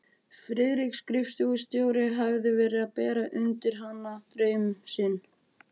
Friðrik skrifstofustjóri hafði verið að bera undir hana draum sinn.